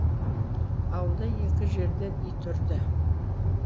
ауылда екі жерден ит үрді